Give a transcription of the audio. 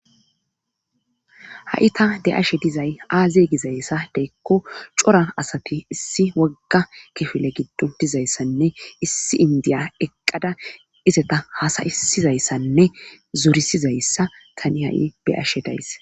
Ha7i ta be7ashe dizay aaze gyayssa giiko cora asati issi wogga kifile giddon uttidayssanne issi inddiya eqqada izata haasayissizayssanne zorisizayssa tani ha7i be7ashe days